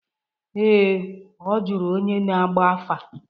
Ee, ọ jụrụ onye na-agba afa.